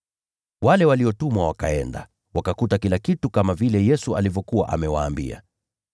Wale waliotumwa wakaenda, wakakuta kila kitu kama vile Yesu alivyokuwa amewaambia.